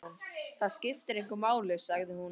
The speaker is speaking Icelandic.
Það skiptir engu máli, sagði hún.